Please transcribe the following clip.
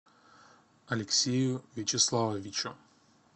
алексею вячеславовичу